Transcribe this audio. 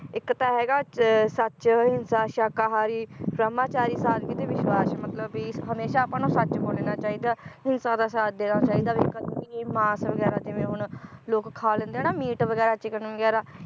ਇਕ ਤਾਂ ਹੈਗਾ ਚ~ ਸੱਚ, ਅਹਿੰਸਾ, ਸ਼ਾਕਾਹਾਰੀ ਬ੍ਰਹਮਾਚਾਰੀ ਸਾਦਗੀ ਤੇ ਵਿਸ਼ਵਾਸ ਮਤਲਬ ਵੀ ਹਮੇਸ਼ਾ ਆਪਾਂ ਨੂੰ ਸੱਚ ਬੋਲਣਾ ਚਾਹੀਦਾ ਅਹਿੰਸਾ ਦਾ ਸਾਥ ਦੇਣਾ ਚਾਹੀਦਾ ਵੀ ਕਦੇ ਵੀ ਮਾਸ ਵਗੈਰਾ ਜਿਵੇ ਹੁਣ ਲੋਕ ਖਾ ਲੈਂਦੇ ਆ ਨਾ ਮੀਟ ਵਗੈਰਾ ਚਿਕਨ ਵਗੈਰਾ